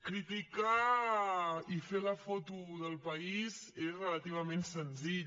criticar i fer la foto del país és relativament senzill